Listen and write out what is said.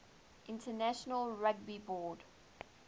international rugby board